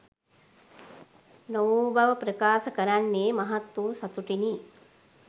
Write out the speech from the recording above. නොවූ බව ප්‍රකාශ කරන්නේ මහත්වූ සතුටිනි.